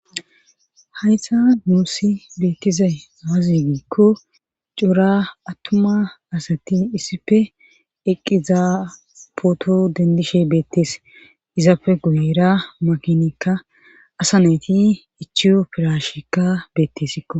hayssa nuussi beettizay aaze giikko cora attuma asati issipe eqqizaa pooto dendishe beettees izappe guyera makinikka asa nayti ichiyo pirashekka beettesikko.